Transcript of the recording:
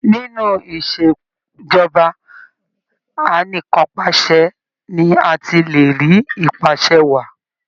Inú Ìṣèjọba Anìkanpàṣẹ ni a ti le rí ìpàsẹ wàá.